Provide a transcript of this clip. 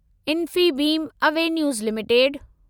Infibeam Avenues limited